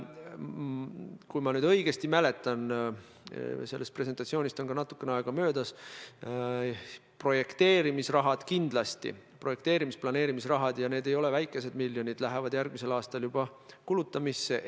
Kui ma õigesti mäletan – sellest presentatsioonist on natukene aega möödas –, siis projekteerimis-planeerimisrahad, ja need ei ole vähesed miljonid, lähevad kindlasti järgmisel aastal juba kulutamisse.